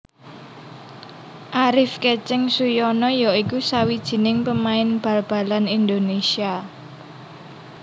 Arif Keceng Suyono ya iku sawijining pemain bal balan Indonésia